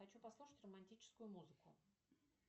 хочу послушать романтическую музыку